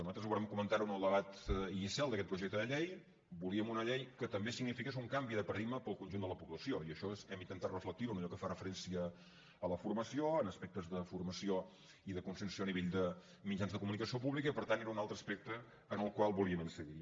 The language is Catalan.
nosaltres ho vàrem comentar en el debat inicial d’aquest projecte de llei volíem una llei que també signifiqués un canvi de paradigma per al conjunt de la població i això hem intentat reflectir ho en allò que fa referència a la formació en aspectes de formació i de conscienciació a nivell de mitjans de comunicació pública i per tant era un altre aspecte en el qual volíem incidir